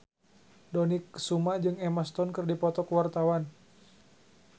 Dony Kesuma jeung Emma Stone keur dipoto ku wartawan